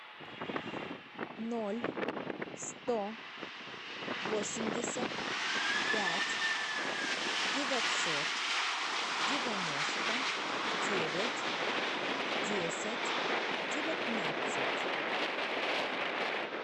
ноль сто восемьдесят пять девятьсот девяносто девять десять девятнадцать